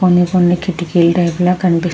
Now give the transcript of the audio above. కొన్ని కొన్ని కిటికీల టైపు లో కనిపిస్తూ --